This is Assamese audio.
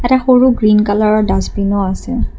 ইয়াতে সৰু গ্ৰীণ কালাৰৰ ডাষ্টবিনো আছে।